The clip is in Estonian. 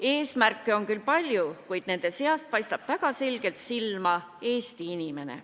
Eesmärke on küll palju, kuid nende seast paistab väga selgelt silma Eesti inimene.